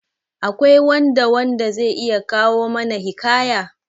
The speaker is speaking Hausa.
Akwai wanda wanda zai iya kawo mana hikaya?